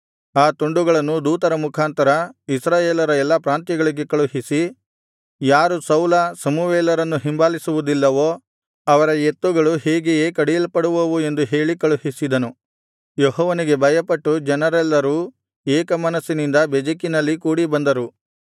ಆ ತುಂಡುಗಳನ್ನು ದೂತರ ಮುಖಾಂತರ ಇಸ್ರಾಯೇಲರ ಎಲ್ಲಾ ಪ್ರಾಂತ್ಯಗಳಿಗೆ ಕಳುಹಿಸಿ ಯಾರು ಸೌಲ ಸಮುವೇಲರನ್ನು ಹಿಂಬಾಲಿಸುವುದಿಲ್ಲವೋ ಅವರ ಎತ್ತುಗಳು ಹೀಗೆಯೇ ಕಡಿಯಲ್ಪಡುವವು ಎಂದು ಹೇಳಿ ಕಳುಹಿಸಿದನು ಯೆಹೋವನಿಗೆ ಭಯಪಟ್ಟು ಜನರೆಲ್ಲರೂ ಏಕಮನಸ್ಸಿನಿಂದ ಬೆಜೆಕಿನಲ್ಲಿ ಕೂಡಿಬಂದರು